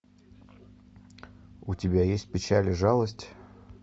у тебя есть печаль и жалость